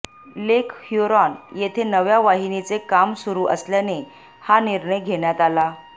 लेक Huron येथे नव्या वाहिनीचे काम सुरु असल्याने हा निर्णय घेण्यात आला